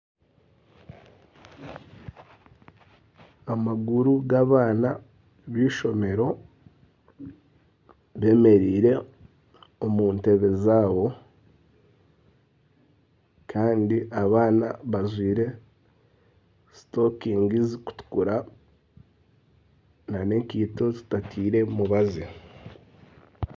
Amaguru g'abaana b'eishomero bemereire omu ntebe zaabo. Kandi abaana bajwaire sokusi zirikutukura n'enkaito zitateire mubazi.